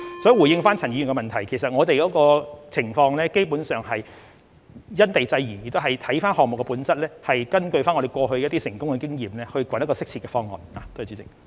所以，回應陳議員的補充質詢，我們的情況基本上是因地制宜，也要視乎項目本質，以及根據過去一些成功的經驗，尋找一個適切的方案。